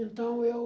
Então, eu...